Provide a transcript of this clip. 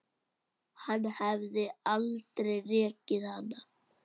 Hann hefði aldrei rekið hana.